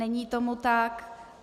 Není tomu tak.